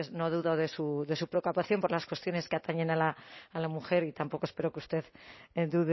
no dudo de su preocupación por las cuestiones que atañen a la mujer y tampoco espero que usted dude